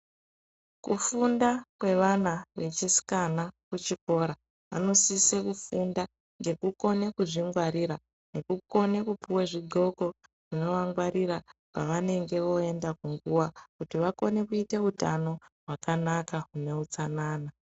Kufunda kwevana vechisikana kuchikora vanosisa kufunda ngekukona kuzvingwarira nekukona kupiwa zvidzhloko zvekurikwarira pavanenge voenda kunguwa vakone kuita utano hwakanaka huneutsanana